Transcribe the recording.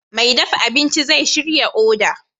Mai dafa abinci zai shirya odar